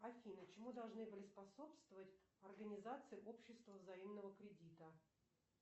афина чему должны были способствовать организации общества взаимного кредита